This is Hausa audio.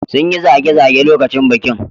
Sun yi zage-zage lokacin bikin.